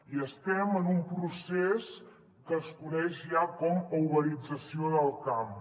i estem en un procés que es coneix ja com a uberització del camp